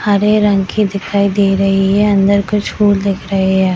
हरे रंग की दिखाई दे रही है अंदर कुछ फूल दिख रहे है।